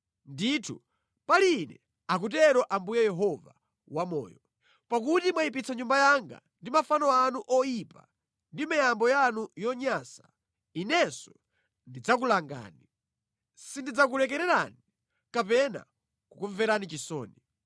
Ndithu, pali Ine, akutero Ambuye Yehova Wamoyo, pakuti mwayipitsa Nyumba yanga ndi mafano ano oyipa ndi miyambo yanu yonyansa, Inenso ndidzakulangani. Sindidzakulekererani kapena kukumverani chisoni.